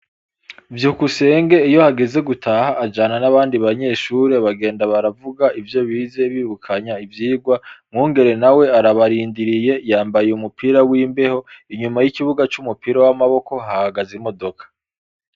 VYUKUSENGE iyo hageze gutaha ajana n' abandi banyeshure bagenda baravuga ivyo bize bibukanya ivyigwa MWUNGERE nawe arabarindiriye yambaye umupira w' imbeho inyuma y' ikubuga c' umupira w' amaboko hahagaze imodoka.